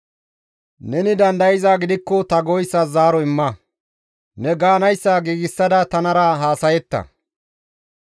Neni dandayzaa gidikko ta goyssas zaaro imma; ne gaanayssa giigsada tanara haasayeeta.